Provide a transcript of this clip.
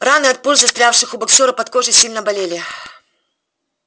раны от пуль застрявших у боксёра под кожей сильно болели